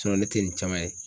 ne tɛ nin caman ye.